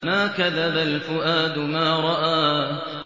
مَا كَذَبَ الْفُؤَادُ مَا رَأَىٰ